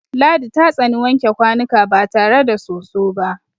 Ladi ta tsani wanke kwanuka ba tare da soso ba.